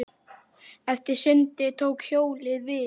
Eftir sundið tók hjólið við.